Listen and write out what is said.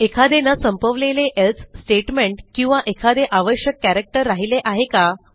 एखादे न संपवलेले elseस्टेटमेंट किंवा एखादे आवश्यक characterराहिले आहे का